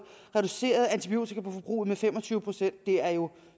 reduceret antibiotikaforbruget med fem og tyve procent det er jo